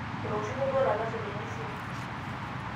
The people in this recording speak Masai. etooshoko duo olalashe lenye esimu